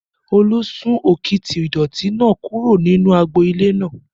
Olú sún òkìtì ìdọ̀ọ̀tí náà kúrò nínú agbo ilé náà